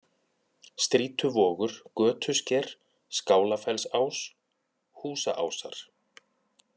Strýtuvogur, Götusker, Skálafellsás, Húsaásar